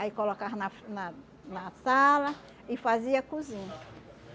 Aí colocava na na na sala e fazia a cozinha.